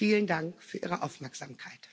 Vielen Dank für Ihre Aufmerksamkeit.